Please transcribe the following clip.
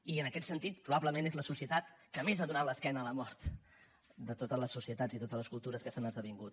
i en aquest sentit probablement és la societat que més ha donat l’esquena a la mort de totes les societats i totes les cultures que s’han esdevingut